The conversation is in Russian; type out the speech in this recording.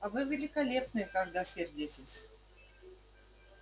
а вы великолепны когда сердитесь